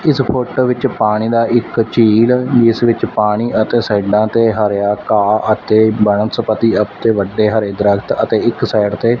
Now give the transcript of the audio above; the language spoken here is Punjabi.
ਇਸ ਫੋਟੋ ਵਿੱਚ ਪਾਣੀ ਦਾ ਇੱਕ ਝੀਲ ਜਿਸ ਵਿੱਚ ਪਾਣੀ ਅਤੇ ਸਾਈਡਾਂ ਤੇ ਹਰਿਆ ਗਾਹ ਅਤੇ ਬਨਸਪਤੀ ਅਤੇ ਵੱਡੇ ਹਰੇ ਦਰਖਤ ਅਤੇ ਇੱਕ ਸਾਈਡ ਤੇ--